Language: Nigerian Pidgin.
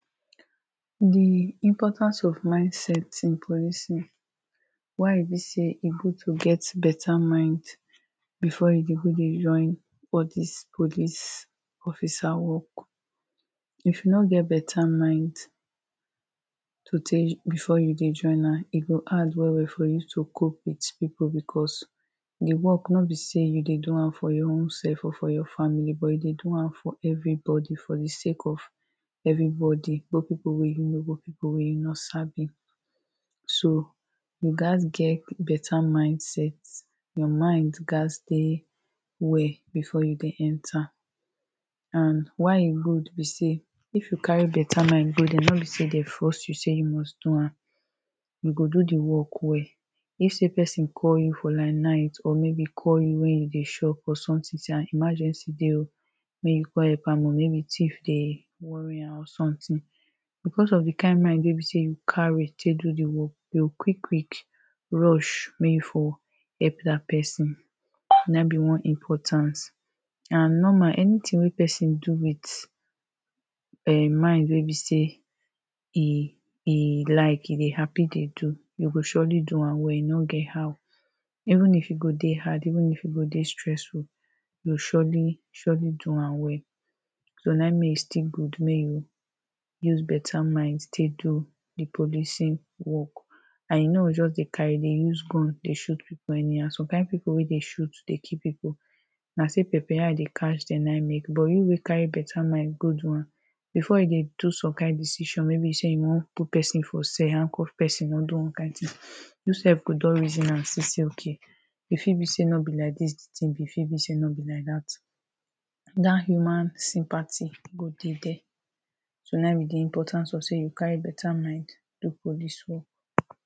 the importance of mind set in policing why e be say e good to get better mind before you de go de join all dis police officer work if you no get better mind to before you join am e go hard well well for you to cope with people becuse the work no be say you de do am for your own self or your family but you de do am for everybody for the sake of everybody, both people wey you know or people wey you no sabi so, you got get better mind set your mind gats de well before you de enter and why e good be say if you carry better mind de dere no be say they force you say you go do am you go do the work well if say person call you for like night or maybe call you when you de shop or something say emergency de o make you co,e help am maybe thief de worry am or something because of the kind mind wey be say you carry take do the work you go quick quick rush make you for help that person na ehm be one importance and normal, anything wey person do with mind wey be say e, e like, e de happy de do you go surely do am well e no get how even if e go de hard, even if e go de stressful you go surely, surely do am well so na ehm make e still good make you use better mind take do the policing work and you no go just de carry de use gun de shoot people anyhow somekind people wey de shoot de kill people na still pepper eye de catch them na ehm make but we wey carry better mind go do am before you de do some kind decision wey be say you wan put person for cell, handcuff person or do one kind thing you sef go don reason am see say okay e fit be say no be like dis the thing be, e fit be say no be like that human sympathy go de deh so na ehm be the importance of say you carry better mind do police work.